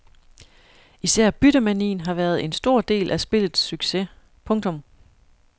Især byttemanien har været en stor del af spillets succes. punktum